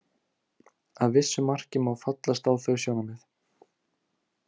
Að vissu marki má fallast á þau sjónarmið.